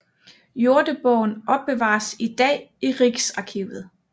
Jordebogen opbevares i dag i Riksarkivet